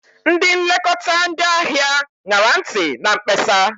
Ndị nlekọta ndị ahịa ṅara ntị na mkpesa.